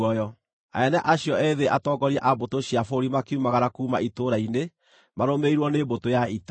Anene acio ethĩ atongoria a mbũtũ cia bũrũri makiumagara kuuma itũũra-inĩ marũmĩrĩirwo nĩ mbũtũ ya ita,